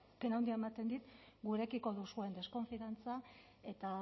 pena handia ematen dit gurekiko duzuen deskonfiantza eta